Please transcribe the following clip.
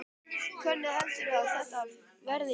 Hvernig heldurðu að þetta verði í nótt?